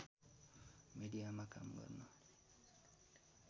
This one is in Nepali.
मिडियामा काम गर्न